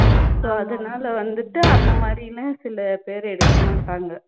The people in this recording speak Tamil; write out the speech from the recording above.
so அதனால வந்துட்டு அந்த மாதிரின்னு சில பேர எடுக்க மாட்டாங்க